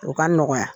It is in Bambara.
O ka nɔgɔya